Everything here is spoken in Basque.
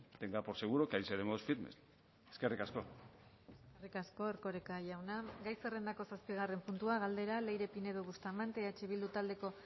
tenga por seguro que ahí seremos firmes eskerrik asko eskerrik asko erkoreka jauna gai zerrendako zazpigarren puntua galdera leire pinedo bustamante eh bildu taldeko